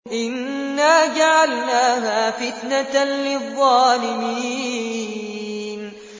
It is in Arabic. إِنَّا جَعَلْنَاهَا فِتْنَةً لِّلظَّالِمِينَ